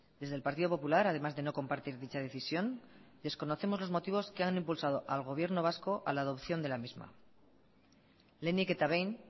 desde el partido popular además de no compartir dicha decisión desconocemos los motivos que han impulsado al gobierno vasco a la adopción de la misma lehenik eta behin